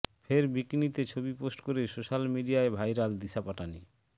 ফের বিকিনিতে ছবি পোস্ট করে সোশ্যাল মিডিয়ায় ভাইরাল দিশা পাটানি